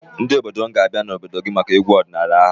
Ndị obodo m ga-abịa n'obodo gị maka egwu ọdịnaala ahụ.